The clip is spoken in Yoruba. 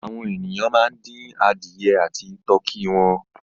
Àwọn ènìyàn máa ń dín adìẹ àti tọkí wọn.